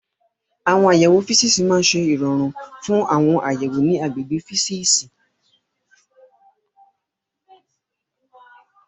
Àwọn àyẹ̀wò físíìsì máa ń ṣe ìrọ̀rùn fún àwọn àyẹ̀wò ní àgbègbè físíìsì.